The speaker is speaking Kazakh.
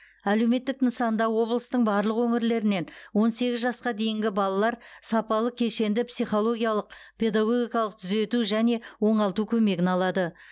әлеуметтік нысанда облыстың барлық өңірлерінен он сегіз жасқа дейінгі балалар сапалы кешенді психологиялық педагогикалық түзету және оңалту көмегін алады